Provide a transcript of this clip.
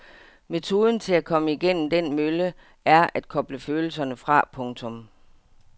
Metoden til at komme igennem den mølle er at koble følelserne fra. punktum